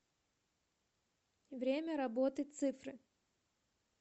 время работы цифры